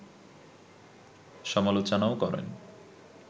সমালোচনাও করেন